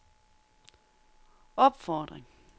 opfordring